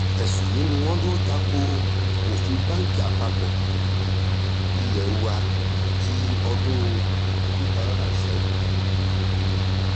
ẹ̀sùn yìí ni wọ́n lọ ta ko òfin báǹkì àpapọ̀ ilé wa ti ọdún two thousand and seven